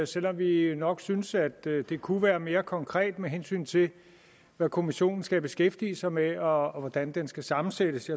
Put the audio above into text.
selv om vi nok synes at det det kunne være mere konkret med hensyn til hvad kommissionen skal beskæftige sig med og hvordan den skal sammensættes